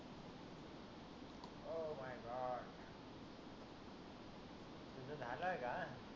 तुझ झाल आहे का